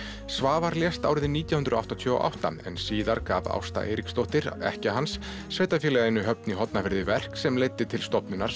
Svavar lést árið nítján hundruð áttatíu og átta en síðar gaf Ásta Eiríksdóttir ekkja hans sveitarfélaginu Höfn í Hornafirði verk sem leiddi til stofnunar